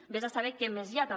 ves a saber què més hi ha també